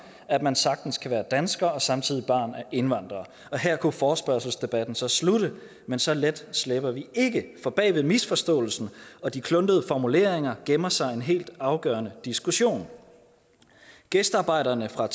at man sagtens kan være dansker og samtidig være barn af indvandrere og her kunne forespørgselsdebatten så slutte men så let slipper vi ikke for bag ved misforståelsen og de kluntede formuleringer gemmer sig en helt afgørende diskussion gæstearbejderne fra